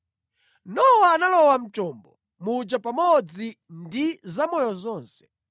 Nowa analowa mu chombo muja pamodzi ndi zamoyo zonse.